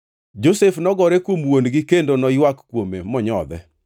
Josef nogore kuom wuon-gi kendo noywak kuome monyodhe.